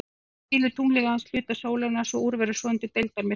Því hylur tunglið aðeins hluta sólarinnar svo úr verður svonefndur deildarmyrkvi.